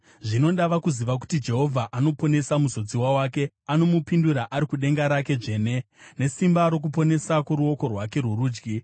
Zvino ndava kuziva kuti Jehovha anoponesa muzodziwa wake; anomupindura ari kudenga rake dzvene, nesimba rokuponesa kworuoko rwake rworudyi.